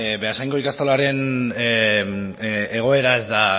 beasaingo ikastolaren egoera ez da